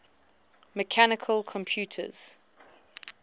mechanical computers